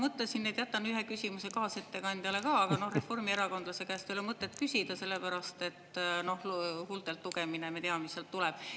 Mõtlesin, et jätan ühe küsimuse kaasettekandjale ka, aga reformierakondlase käest ei ole mõtet küsida, sellepärast et huultelt lugemine, me teame, mis sealt tuleb.